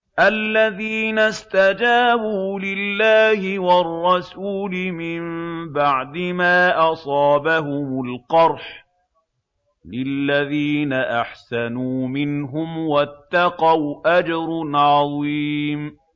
الَّذِينَ اسْتَجَابُوا لِلَّهِ وَالرَّسُولِ مِن بَعْدِ مَا أَصَابَهُمُ الْقَرْحُ ۚ لِلَّذِينَ أَحْسَنُوا مِنْهُمْ وَاتَّقَوْا أَجْرٌ عَظِيمٌ